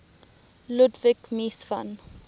ludwig mies van